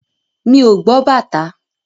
Mi ò gbọ́ bàtá.